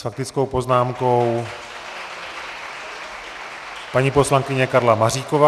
S faktickou poznámkou paní poslankyně Karla Maříková.